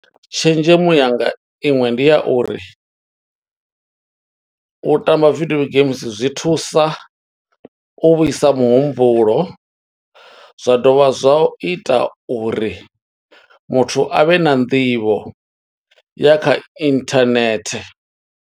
Tshenzhemo yanga iṅwe, ndi ya uri u tamba video games zwi thusa u vhuisa muhumbulo. Zwa dovha zwa ita uri muthu a vhe na nḓivho ya kha internet.